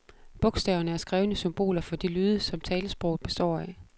Bogstaverne er skrevne symboler for de lyde, som talesproget består af.